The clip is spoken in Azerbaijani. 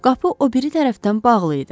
Qapı o biri tərəfdən bağlı idi.